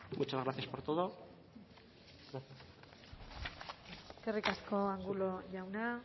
muchas gracias por todo eskerrik asko angulo jauna